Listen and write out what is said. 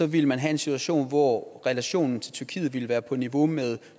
ville man have en situation hvor relationen til tyrkiet ville være på niveau med